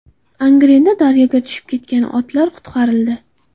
Angrenda daryoga tushib ketgan otlar qutqarildi .